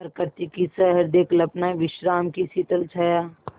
प्रकृति की सहृदय कल्पना विश्राम की शीतल छाया